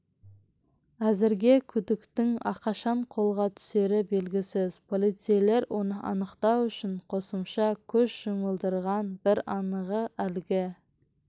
әзірге күдіктінің қашан қолға түсері белгісіз полицейлер оны анықтау үшін қосымша күш жұмылдырған бір анығы әлгі